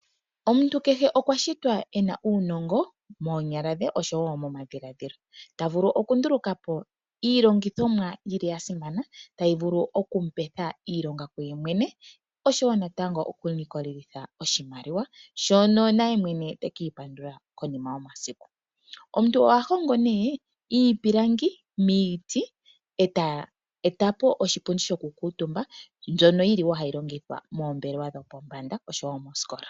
Omuntu kehe okwa shitwa e na uunongo, moonyala dhe oshowo momadhilaadhilo. Ta vulu okunduluka po iilongithomwa ya simana, tayi vulu okumu petha iilonga kuyemwene, oshowo natango ta vulu okulikola mo oshimaliwa, shono nayemwene teki ipandula konima yomasiku. Omuntu oha hongo nduno iipilangi miiti, eta nduluka po oshipundi shoku kuutumba, mbyono yili hayi longithwa moombelewa dhopombanda, oshowo moosikola.